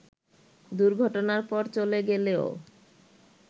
দুর্ঘটনার পর চলে গেলেও